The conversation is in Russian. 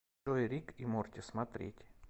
джой рик и морти смотреть